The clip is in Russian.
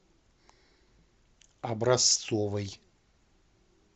образцовой